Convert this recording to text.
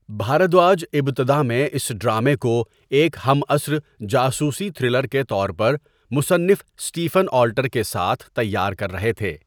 بھاردواج ابتدا میں اس ڈرامے کو ایک ہم عصر جاسوسی تھرلر کے طور پر مصنف اسٹیفن آلٹر کے ساتھ تیار کر رہے تھے۔